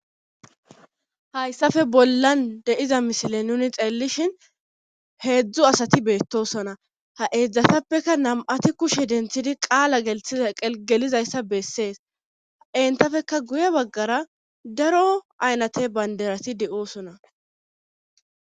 Hayssafe bollan deiza misile nuni xeellishin heedzdzu asati beettosona ha eedzdzatappeka nam7ati kushe denthidi qaala gelizayssa bessees ha entafeka guye baggara daro aynate banderati de7oosona.